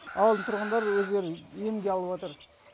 ауылдың тұрғындары өздері емге алыватыр